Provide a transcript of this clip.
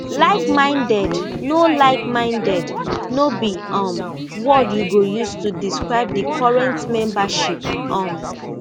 likeminded no likeminded no be um word you go use to describe di current membership um